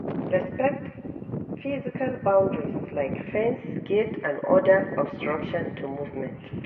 Respect physical boundaries like fence, gate and oda obstruction to movement